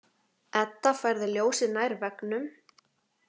Edda færði ljósið nær veggnum.